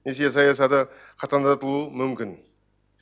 несие саясаты қатаңдатылуы мүмкін